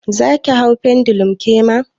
Zaki hau pendulum kema?